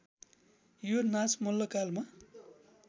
यो नाच मल्लकालमा